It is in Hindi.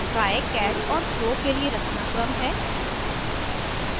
try catch और throw के लिए रचनाक्रम है